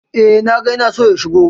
Eh, na ga ya na so ya shigo.